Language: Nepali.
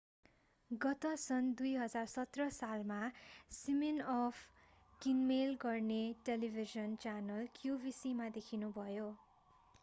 गत सन् 2017 सालमा सिमिनअफ किनमेल गरिने टेलिभिजन च्यानल qvc मा देखिनुभयो